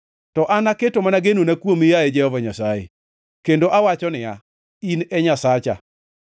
To an aketo mana genona kuomi, yaye Jehova Nyasaye; kendo awacho niya, “In e Nyasacha.”